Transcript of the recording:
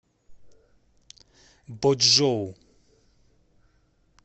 бочжоу